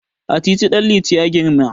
A titi Ɗanliti ya girma.